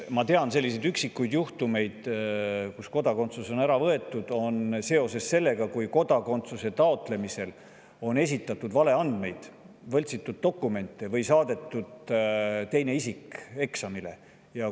Ma tean üksikuid juhtumeid, kus kodakondsus on ära võetud seetõttu, et kodakondsuse taotlemisel on esitatud valeandmeid, võltsitud dokumente või saadetud eksamile teine isik.